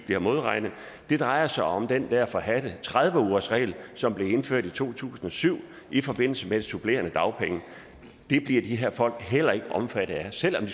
bliver modregnet det drejer sig om den der forhadte tredive ugersregel som blev indført i to tusind og syv i forbindelse med de supplerende dagpenge det bliver de her folk heller ikke omfattet af selv om